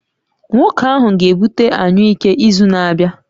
Nwoke ahụ ga-ebute anyụike izu na-abịa